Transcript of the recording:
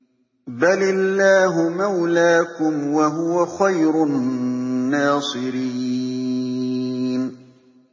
بَلِ اللَّهُ مَوْلَاكُمْ ۖ وَهُوَ خَيْرُ النَّاصِرِينَ